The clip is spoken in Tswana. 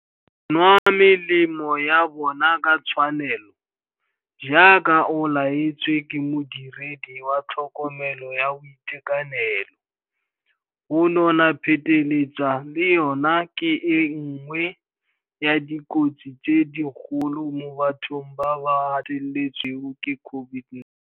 Go nwa melemo ya bona ka tshwanelo, jaaka o laetswe ke modiredi wa tlhokomelo ya boitekanelo. Go nona pheteletsa le yona ke e nngwe ya dikotsi tse dikgolo mo bathong ba ba gateletsweng ke COVID-19.